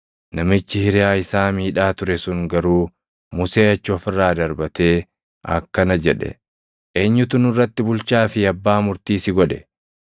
“Namichi hiriyaa isaa miidhaa ture sun garuu Musee achi of irraa darbatee akkana jedhe; ‘Eenyutu nurratti bulchaa fi abbaa murtii si godhe?